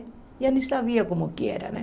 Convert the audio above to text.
Nem sabia como que era, né?